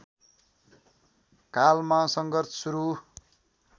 कालमा सङ्घर्ष सुरु